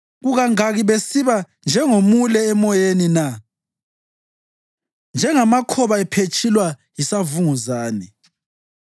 Kukangaki besiba njengomule emoyeni na, njengamakhoba ephetshulwa yisivunguzane?